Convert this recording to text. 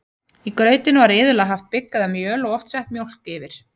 í grautinn var iðulega haft bygg eða mjöl og oft sett mjólk yfir